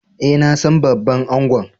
Eh, na san babban angon.